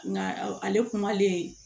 Nka ale kumalen